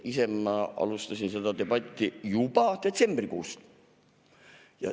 Ise ma alustasin seda debatti juba detsembrikuus.